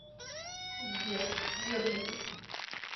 сбер медленно